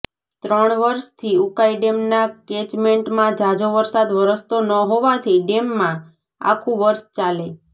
ત્રણ વર્ષથી ઉકાઇ ડેમના કેચમેન્ટમાં ઝાઝો વરસાદ વરસતો ન હોવાથી ડેમમાં આખુ વર્ષ ચાલે